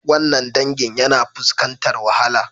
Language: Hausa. Wannan dangin yana fuskantar wahala